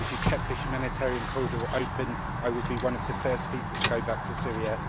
If you kept the humanitarian corridor open I would be one of the first people to go back to Syria.